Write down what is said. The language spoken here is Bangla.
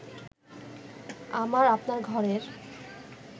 আমার আপনার ঘরের